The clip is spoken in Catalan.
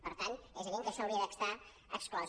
per tant és evident que això hauria d’estar exclòs